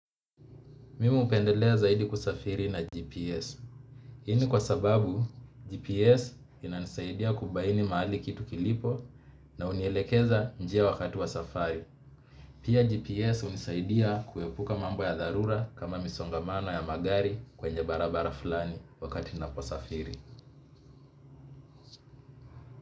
Mimi hupendelea zaidi kusafiri na GPS. Hini kwa sababu GPS inanisaidia kubaini mahali kitu kilipo na hunielekeza njia wakati wa safari. Pia GPS hunisaidia kuepuka mambo ya dharura kama misongamano ya magari kwenye barabara fulani wakati ninaposafiri.